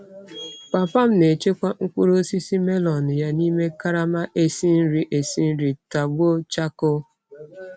Papa m na-echekwa mkpụrụ osisi melon ya n'ime karama esi nri esi nri tọgbọ chakoo.